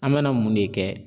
An bɛna mun de kɛ?